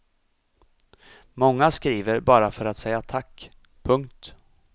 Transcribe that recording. Många skriver bara för att säga tack. punkt